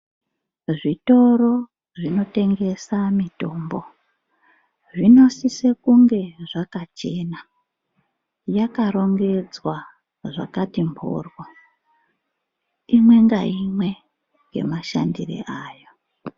Zvitoro zvinotengesa mitombo zvinosisa kunge zvakachena. Yakarongedzwa zvakati mboryo. Imwe ngaimwe ngemashandiro ayo.